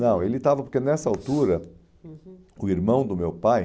Não, ele estava porque nessa altura, uhum, o irmão do meu pai